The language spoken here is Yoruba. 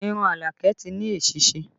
Irun Alake ti ní èsísí